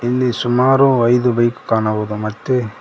ಇಲ್ಲಿ ಸುಮಾರು ಐದು ಬೈಕು ಕಾಣಬಹುದು ಮತ್ತೆ--